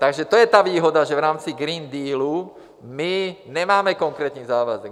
Takže to je ta výhoda, že v rámci Green Dealu my nemáme konkrétní závazek.